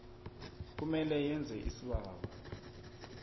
kumele yenze isibawo